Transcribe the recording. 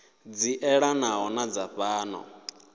dzi elanaho na dza fhano